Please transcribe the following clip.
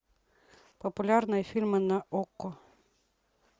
популярные фильмы на окко